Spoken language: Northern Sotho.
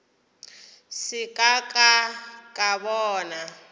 se ka ka ka bona